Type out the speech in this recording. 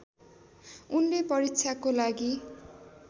उनले परीक्षाको लागि